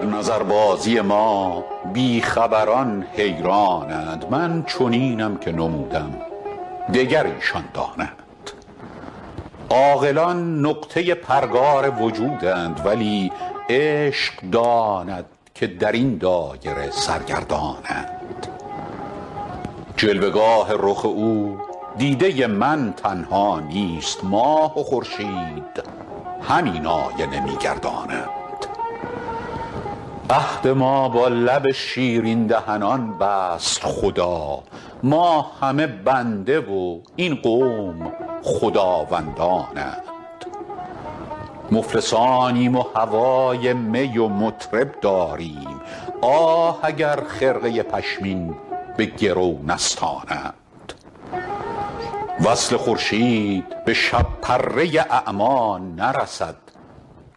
در نظربازی ما بی خبران حیران اند من چنینم که نمودم دگر ایشان دانند عاقلان نقطه پرگار وجودند ولی عشق داند که در این دایره سرگردان اند جلوه گاه رخ او دیده من تنها نیست ماه و خورشید همین آینه می گردانند عهد ما با لب شیرین دهنان بست خدا ما همه بنده و این قوم خداوندان اند مفلسانیم و هوای می و مطرب داریم آه اگر خرقه پشمین به گرو نستانند وصل خورشید به شب پره اعمی نرسد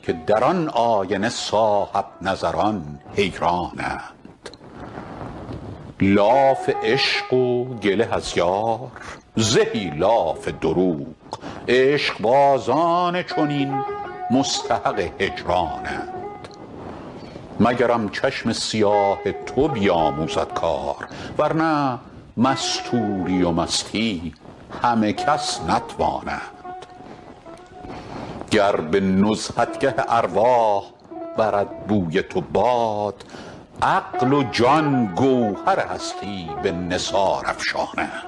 که در آن آینه صاحب نظران حیران اند لاف عشق و گله از یار زهی لاف دروغ عشق بازان چنین مستحق هجران اند مگرم چشم سیاه تو بیاموزد کار ورنه مستوری و مستی همه کس نتوانند گر به نزهتگه ارواح برد بوی تو باد عقل و جان گوهر هستی به نثار افشانند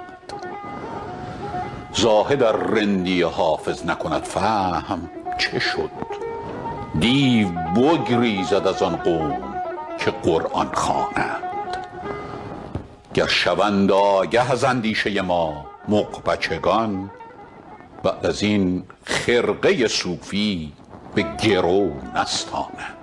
زاهد ار رندی حافظ نکند فهم چه شد دیو بگریزد از آن قوم که قرآن خوانند گر شوند آگه از اندیشه ما مغ بچگان بعد از این خرقه صوفی به گرو نستانند